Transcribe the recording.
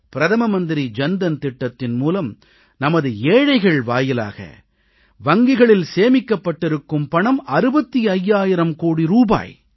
பிரதம மந்திரி ஜன் தன் திட்டத்தின் மூலம் நமது ஏழைகள் வாயிலாக வங்கிகளில் சேமிக்கப்பட்டிருக்கும் பணம் 65000 கோடி ரூபாய்